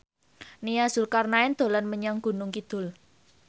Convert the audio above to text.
Nia Zulkarnaen dolan menyang Gunung Kidul